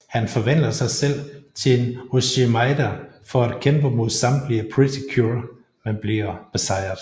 Han forvandler sig selv til en oshimaida for at kæmpe mod samtlige Pretty Cure men bliver besejret